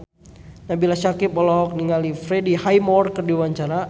Nabila Syakieb olohok ningali Freddie Highmore keur diwawancara